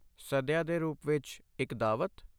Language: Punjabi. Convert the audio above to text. ਸਦਯਾ ਦੇ ਰੂਪ ਵਿੱਚ, ਇੱਕ ਦਾਅਵਤ?